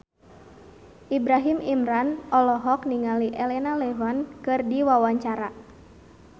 Ibrahim Imran olohok ningali Elena Levon keur diwawancara